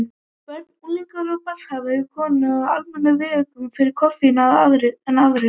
Börn, unglingar og barnshafandi konur eru almennt viðkvæmari fyrir koffíni en aðrir.